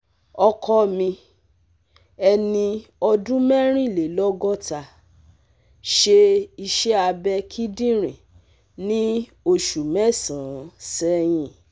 Ọkọ mi, ẹni ọdún mẹ́rìnlélọ́gọ́ta, ṣe iṣẹ́ abẹ kíndìnrín ní oṣù mẹ́sàn-án sẹ́yìn